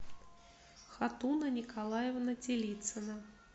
хатуна николаевна телицина